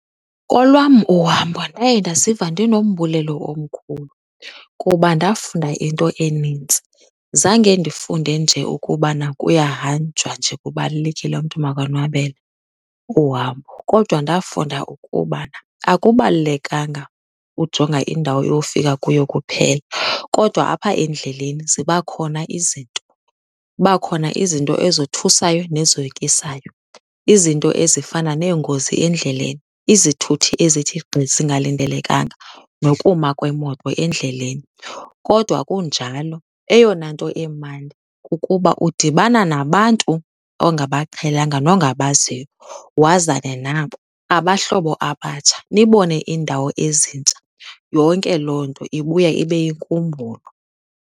Kolwam uhambo ndaye ndaziva ndinombulelo omkhulu kuba ndafunda into enintsi. Zange ndifunde nje ukubana kuyahanjwa nje kubalulekile umntu makonwabele uhambo kodwa ndafunda ukuba akubalulekanga ujonga indawo yofika kuyo kuphela kodwa apha endleleni ziba khona izinto. Kuba khona izinto ezothusayo nezoyikisayo, izinto ezifana neengozi endleleni, izithuthi ezithi gqi zingalindelekanga nokuma kwemoto endleleni. Kodwa kunjalo eyona nto imandi kukuba udibanana nabantu ongabaqhelanga nongabaziyo wazane nabo, abahlobo abatsha, nibone iindawo ezintsha. Yonke loo nto ibuya ibe yinkumbulo.